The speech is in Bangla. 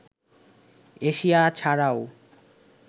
এশিয়া ছাড়াও